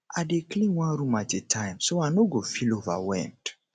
i dey clean one room at a time so i no go feel overwhelmed